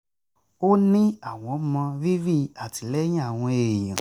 ó ní àwọn mọ rírì àtìlẹ́yìn àwọn èèyàn